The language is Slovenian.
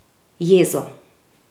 Jezo.